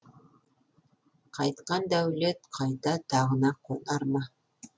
қайтқан дәулет қайта тағына қонар ма